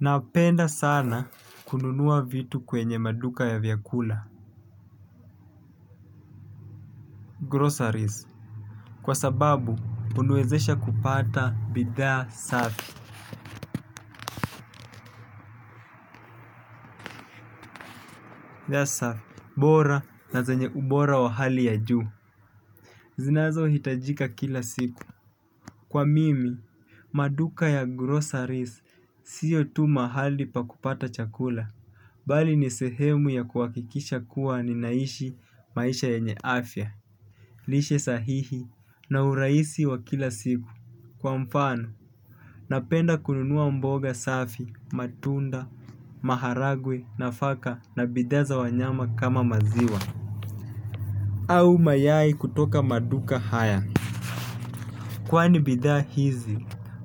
Napenda sana kununua vitu kwenye maduka ya vyakula Groceries, kwa sababu huniwezesha kupata bidhaa safi. Safi, bora na zenye ubora wa hali ya juu zinazohitajika kila siku. Kwa mimi, maduka ya groceries sio tu mahali pa kupata chakula bali ni sehemu ya kuhakikisha kuwa ninaishi maisha yenye afya. Lishe sahihi na urahisi wa kila siku kwa mfano napenda kununua mboga safi, matunda, maharagwe nafaka na bidhaa za wanyama kama maziwa au mayai kutoka maduka haya. Kwani bidhaa hizi,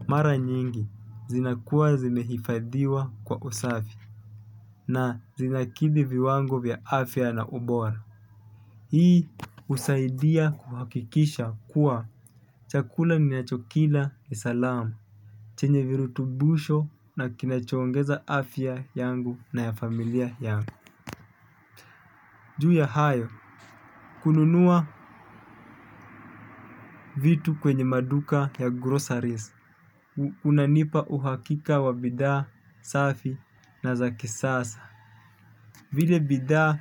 mara nyingi zinakuwa zimehifadhiwa kwa usafi na zinakidhi viwango vya afya na ubora. Hii husaidia kuhakikisha kuwa chakula ninachokila ni salamu, chenye virutubusho na kinachoongeza afya yangu na ya familia yangu. Juu ya hayo kununua vitu kwenye maduka ya groceries unanipa uhakika wa bidhaa safi na za kisasa vile bidhaa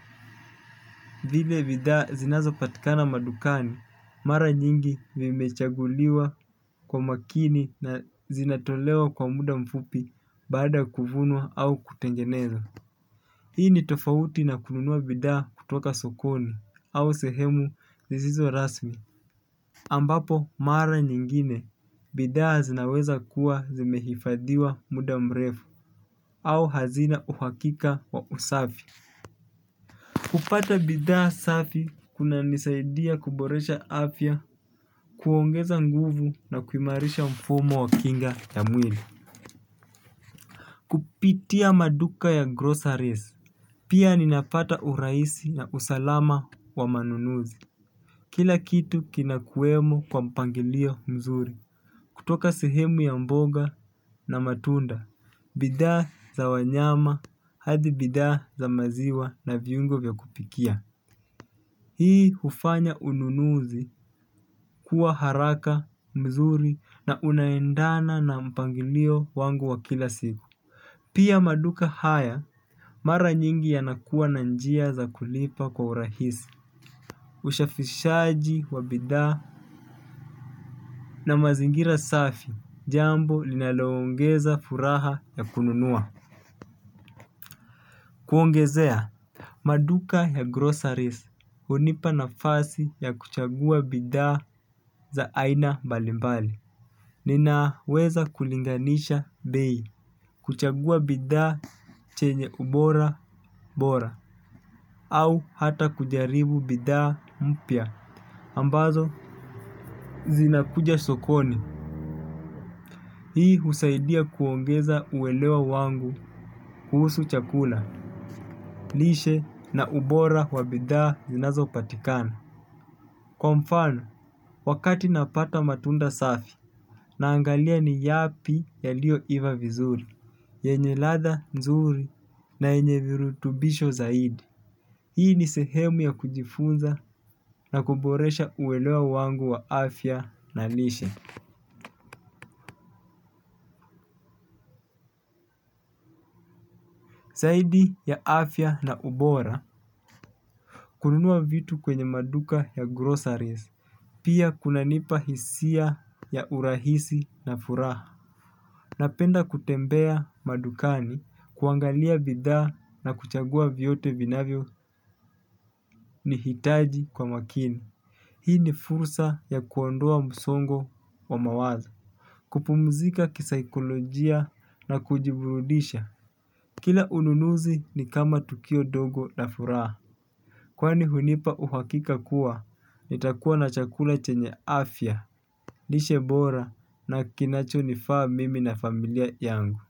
zinazopatikana madukani mara nyingi vimechaguliwa kwa makini na zinatolewa kwa muda mfupi baada ya kuvunwa au kutengeneza. Hii ni tofauti na kununua bidhaa kutoka sokoni au sehemu zisizo rasmi ambapo, mara nyingine, bidhaa zinaweza kuwa zimehifadhiwa muda mrefu au hazina uhakika wa usafi. Kupata bidhaa safi, kunanisaidia kuboresha afya, kuongeza nguvu na kuimarisha mfumo wa kinga ya mwili. Kupitia maduka ya groceries pia ninapata urahisi na usalama wa manunuzi. Kila kitu kinakuwemo kwa mpangilio mzuri kutoka sehemu ya mboga na matunda, bidhaa za wanyama, hadi bidhaa za maziwa na viungo vya kupikia. Hii hufanya ununuzi kuwa haraka mzuri na unaendana na mpangilio wangu wa kila siku. Pia maduka haya, mara nyingi yanakuwa na njia za kulipa kwa urahisi. Ushafishaji wa bidhaa na mazingira safi jambo linaloongeza furaha ya kununua Kuongezea Maduka ya groceries hunipa nafasi ya kuchagua bidhaa za aina mbalimbali. Ninaweza kulinganisha bei. Kuchagua bidhaa chenye ubora bora au hata kujaribu bidhaa mpya ambazo zinakuja sokoni. Hii husaidia kuongeza uelewa wangu kuhusu chakula, lishe na ubora wa bidhaa zinazopatikana. Kwa mfano, wakati napata matunda safi, naangalia ni yapi yaliyoiva vizuri, yenye ladha nzuri na yenye virutubisho zaidi. Hii ni sehemu ya kujifunza na kuboresha uelewa wangu wa afya na lishe. Zaidi ya afya na ubora. Kununua vitu kwenye maduka ya groceries pia kunanipa hisia ya urahisi na furaha. Napenda kutembea madukani kuangalia bidhaa na kuchagua vyote vinavyo nihitaji kwa makini. Hii ni fursa ya kuondoa msongo wa mawazo. Kupumzika kisaikolojia na kujiburudisha. Kila ununuzi ni kama tukio dogo na furaha kwani hunipa uhakika kuwa, nitakuwa na chakula chenye afya lishe bora na kinachonifaa mimi na familia yangu.